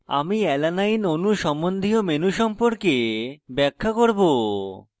আমি alanine অণু সম্বন্ধীয় menu সম্পর্কে ব্যাখ্যা করব